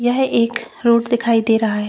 यह एक रोड दिखाई दे रहा है।